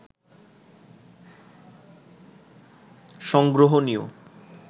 সংগ্রহণীয়